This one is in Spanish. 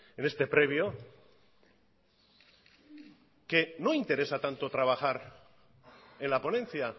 en este previo que no interesa tanto trabajar en la ponencia